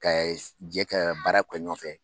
Ka jɛ ka baara kɛ ɲɔn fɛ.